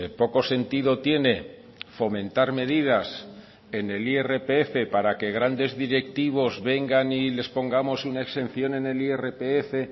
poco sentido tiene fomentar medidas en el irpf para que grandes directivos vengan y les pongamos una exención en el irpf